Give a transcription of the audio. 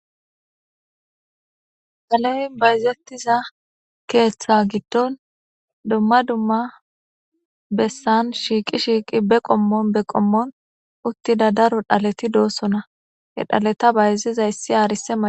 Dhale bayzetiza keetha gidon duma duma besan shiiqi be qomon be qomon utida daro dhaleti de'osona he dhaleta bayzizaysika arsa maca.